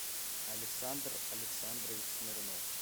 александр александрович смирнов